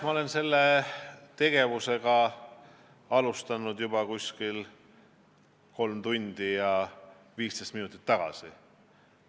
Ma olen seda tegevust alustanud juba kolm tundi ja 15 minutit tagasi.